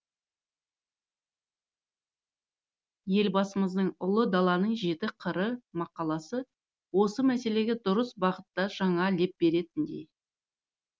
елбасымыздың ұлы даланың жеті қыры мақаласы осы мәселеге дұрыс бағытта жаңа леп беретіндей